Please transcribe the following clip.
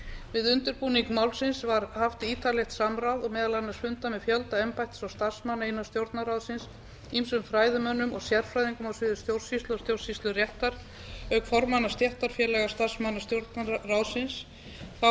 við undirbúning málsins var haft ítarlegt samráð og meðal annars fundað með fjölda embættis og starfsmanna innan stjórnarráðsins ýmsum fræðimönnum og sérfræðingum á sviði stjórnsýslu og stjórnsýsluréttar auk formanna stéttarfélaga starfsmanna stjórnarráðsins þá var